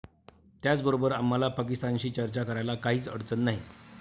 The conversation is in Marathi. त्याचबरोबर आम्हाला पाकिस्तानशी चर्चा करायला काहीच अडचण नाही.